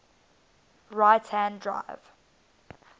right hand drive